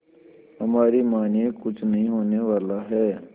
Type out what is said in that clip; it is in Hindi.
हमारी मानिए कुछ नहीं होने वाला है